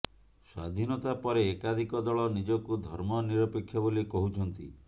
ସ୍ୱାଧୀନତା ପରେ ଏକାଧିକ ଦଳ ନିଜକୁ ଧର୍ମ ନିରପେକ୍ଷ ବୋଲି କହୁଛନ୍ତି